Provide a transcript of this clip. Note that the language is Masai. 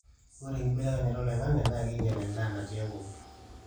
ore enkubelekenya oloingangi naa keinyal endaa natii enkop